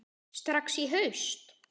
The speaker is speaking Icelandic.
Strax í haust?